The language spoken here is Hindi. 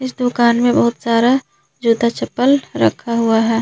इस दुकान में बहुत सारा जूता चप्पल रखा हुआ है।